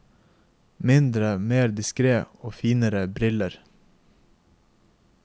Mindre, mer diskret og finere briller.